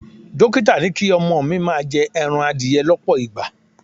Dókítà ní kí ọmọ mi máa jẹ ẹran adìẹ lọ́pọ̀ ìgbà.